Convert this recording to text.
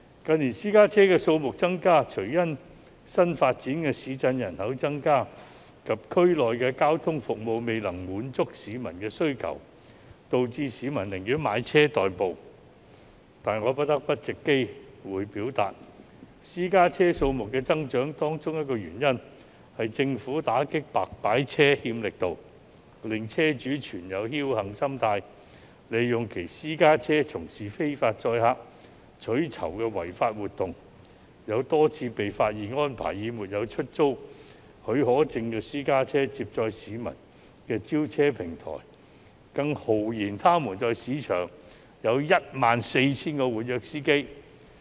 近年，私家車數目增加，除了因為新發展市鎮人口增加及區內的交通服務未能滿足市民需求，導致市民寧願買車代步，但我不得不藉此機會表達，私家車數目增加的原因之一，是政府打擊"白牌車"欠缺力度，令車主心存僥幸，利用其私家車從事非法載客取酬的違法活動，有多次被發現安排以沒有出租許可證的私家車接載市民的召車平台，更豪言他們在市場上有 14,000 名活躍司機。